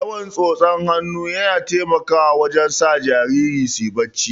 Yawan tsotsar hannu yana taimakawa wajen sa jarirai suyi barci